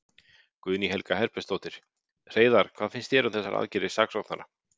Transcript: Guðný Helga Herbertsdóttir: Hreiðar, hvað finnst þér um þessar aðgerðir saksóknara?